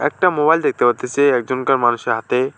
একটা মোবাইল দেখতে পারতাসি একজনকার মানুষের হাতে।